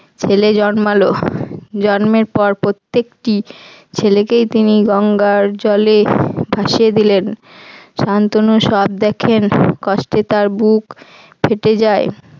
ছেলে জন্মালো জন্মের পর প্রত্যেকটি ছেলেকেই তিনি গঙ্গার জলে ভাসিয়ে দিলেন শান্তনু সব দেখেন কষ্টে তার বুক ফেটে যায়।